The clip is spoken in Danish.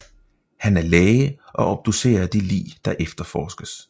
Han er læge og obducerer de lig der efterforskes